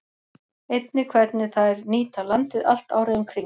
Einnig hvernig þær nýta landið allt árið um kring.